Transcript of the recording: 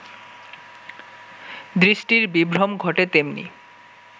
দৃষ্টির বিভ্রম ঘটে তেমনি